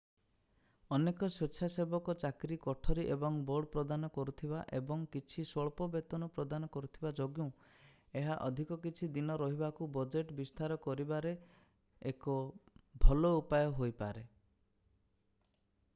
ଅନେକ ସ୍ଵେଚ୍ଛାସେବକ ଚାକିରି କୋଠରୀ ଏବଂ ବୋର୍ଡ ପ୍ରଦାନ କରୁଥିବା ଏବଂ କିଛି ସ୍ୱଳ୍ପ ବେତନ ପ୍ରଦାନ କରୁଥିବା ଯୋଗୁଁ ଏହା ଅଧିକ କିଛି ଦିନ ରହିବାକୁ ବଜେଟ୍ ବିସ୍ତାର କରିବାରେ ଏକ ଭଲ ଉପାୟ ହୋଇପାରେ